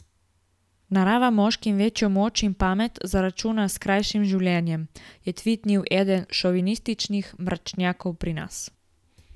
Narava moškim večjo moč in pamet zaračuna s skrajšanim življenjem, je tvitnil eden šovinističnih mračnjakov pri nas.